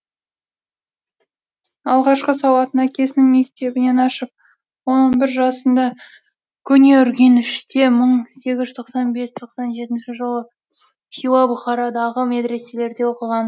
алғашқы сауатын әкесінің мектебінен ашып он он бір жасында көне үргеніште мың сегіз жүз тоқсан бес тоқсан жетінші жылы хиуа бұқарадағы медреселерде оқыған